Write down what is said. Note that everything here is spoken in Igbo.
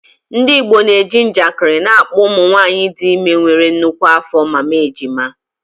Ndị Igbo ji njakịrị na-akpọ ụmụ nwanyị dị ime nwere nnukwu afọ “Mama Ejima.”